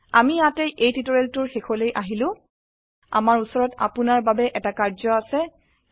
আমি ইয়াতে এই টিউটোৰিয়েলটোৰ শেষলৈ আহিলো আমাৰ উচৰত আপোনাৰ বাবে এটি কাৰ্য আছে